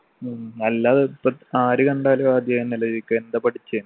ഉം നല്ലതാ ഇപ്പൊ ആര് കണ്ടാലും ആദ്യം അതെന്നെ അല്ലെ ചോയ്ക്കുഅ എന്താ പഠിച്ചേ